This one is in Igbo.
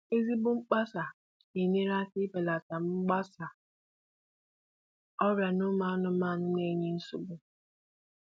ezigbo mkpasa na enyere aka ibelata mgbasa ọrịa na ụmụ anụmanụ na-enye nsogbu